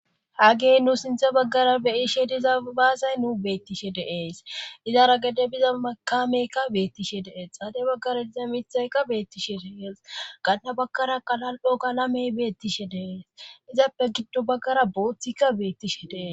hagey nu sintha baggara beyishe diza baasay nu beettishe deees izara gede biza makameykka beettishe dees xaade baggara diza mithaykka beettishe dees gaanda bagkara qalal7o galamey beettishe dees izappe giddo baggara booththikka beettishe dees